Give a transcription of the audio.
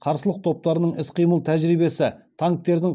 қарсылық топтардың іс қимыл тәжірибесі танктердің